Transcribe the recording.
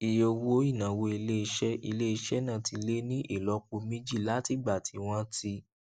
iye owó ìnáwó iléiṣẹ iléiṣẹ náà ti lé ní ìlópo méjì látìgbà tí wọn ti